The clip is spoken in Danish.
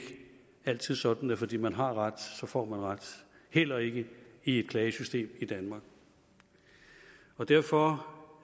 altid sådan at fordi man har ret får man ret heller ikke i et klagesystem i danmark derfor